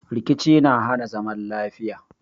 Rikici na hana zaman lafiya